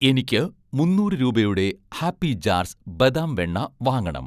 എനിക്ക് മുന്നൂറ് രൂപയുടെ 'ഹാപ്പി ജാർസ്' ബദാം വെണ്ണ വാങ്ങണം